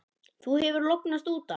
Þú hefur lognast út af!